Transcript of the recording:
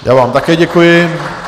Já vám také děkuji.